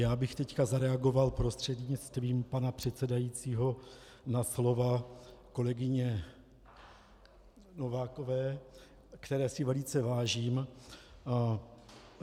Já bych teď zareagoval prostřednictvím pana předsedajícího na slova kolegyně Novákové, které si velice vážím.